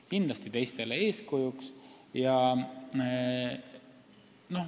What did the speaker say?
Kindlasti on nad teistele eeskujuks.